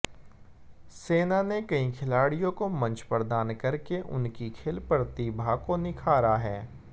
सेना ने कई खिलाडि़यों को मंच प्रदान करके उनकी खेल प्रतिभा को निखारा है